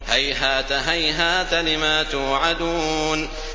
۞ هَيْهَاتَ هَيْهَاتَ لِمَا تُوعَدُونَ